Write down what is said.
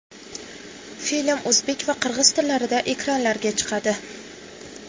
Film o‘zbek va qirg‘iz tillarida ekranlarga chiqadi.